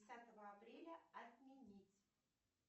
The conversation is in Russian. десятого апреля отменить